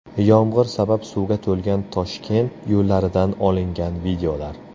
Yomg‘ir sabab suvga to‘lgan Toshkent yo‘llaridan olingan videolar.